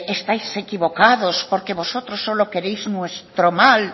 estáis equivocados porque vosotros solo queréis nuestro mal